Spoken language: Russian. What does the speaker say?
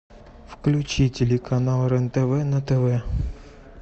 включи телеканал рен тв на тв